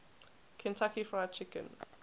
kentucky fried chicken